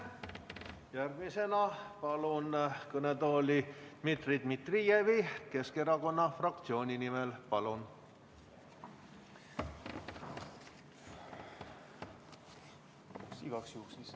Järgmisena palun kõnetooli Dmitri Dmitrijevi Keskerakonna fraktsiooni nimel sõna võtma.